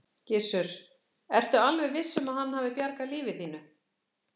Gissur: Ertu alveg viss um að hann hafi bjargað lífi þínu?